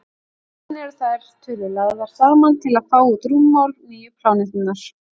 síðan eru þær tölur lagðar saman til að fá út rúmmál nýju plánetunnar